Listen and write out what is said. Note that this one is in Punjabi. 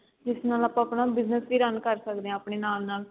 ਜਿਸ ਨਾਲ ਆਪਾਂ ਆਪਣਾ business ਵੀ run ਕਰ ਸਕਦੇ ਆ ਆਪਣੇ ਨਾਲ ਨਾਲ